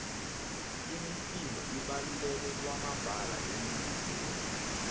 imifino ibaluleke kwamambala emizimbeni